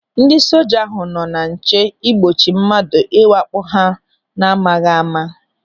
Ndị soja ahụ nọ na nche igbochi mmadụ ịwakpo ha n'amaghị ama.